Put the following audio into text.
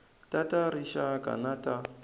ta ta rixaka na ta